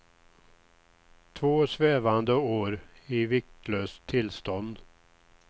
Två svävande år i viktlöst tillstånd.